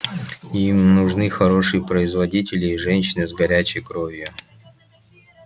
им нужны хорошие производители и женщины с горячей кровью